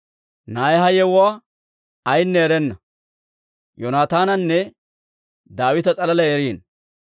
Na'ay ha yewuwaa ayinne erenna; Yoonataananne Daawita s'alaalay eriino.